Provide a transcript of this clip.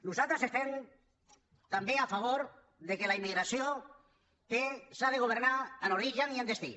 nosaltres estem també a favor que la immigració s’ha·gi de governar en origen i en destí